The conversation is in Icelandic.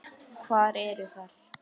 Hvar eru þær?